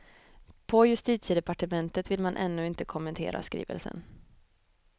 På justitiedepartementet vill man ännu inte kommentera skrivelsen.